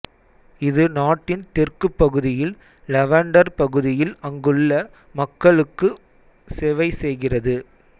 இது நாட்டின் தெற்குப் பகுதியில் லவண்டர் பகுதியில் அங்குள்ள மக்களுக்கு செவைசெய்கிறது